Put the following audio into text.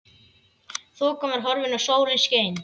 Þokan var horfin og sólin skein.